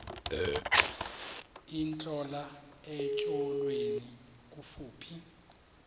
intlola etyholweni kufuphi